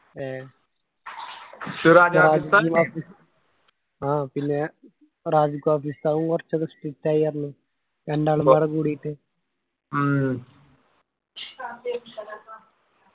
ഏഹ്ഹ് ആഹ് പിന്നെ സാവും കുറച്ചെക്കെ strict ആയി പറഞ്ഞു രണ്ടാള് വേറെ കൂടീട്ട്